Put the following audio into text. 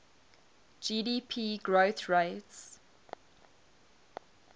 gdp growth rates